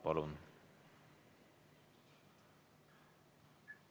Palun!